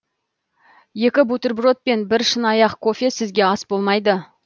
екі бутерброд пен бір шынаяқ кофе сізге ас болмайды